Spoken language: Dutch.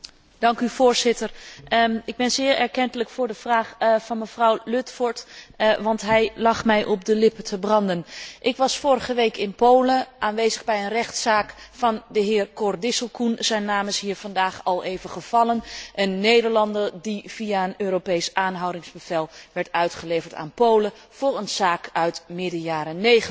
Voorzitter, ik ben zeer erkentelijk voor de vraag van mevrouw Ludford, want hij lag mij op de lippen te branden. Ik was vorige week in Polen aanwezig bij een rechtszaak van de heer Cor Disselkoen zijn naam is hier vandaag al even gevallen een Nederlander die via een Europees aanhoudingsbevel werd uitgeleverd aan Polen voor een zaak uit midden jaren '90.